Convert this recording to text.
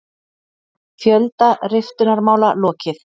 Fjölda riftunarmála lokið